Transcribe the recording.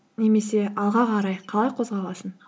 немесе алға қарай қалай қозғаласың